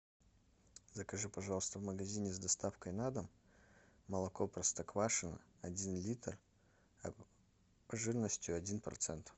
закажи пожалуйста в магазине с доставкой на дом молоко простоквашино один литр жирностью один процент